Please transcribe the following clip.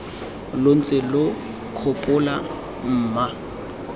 lo ntse lo nkgopola mma